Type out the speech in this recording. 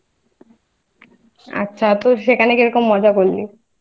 আচ্ছা তো সেখানে কি রকম মজা করলি?